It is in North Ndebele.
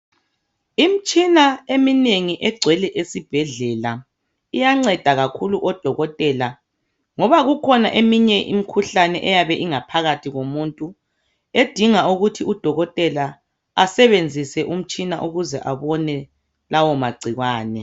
Imtshina eminengi egcwele esibhedlela iyanceda kakhulu odokotela ngoba iyabe ikhona ekinye imikhuhlane ingakathi komuntu edinga ukuthi udokotela asebenzise umtshina ukuze abone lawo magcikwane.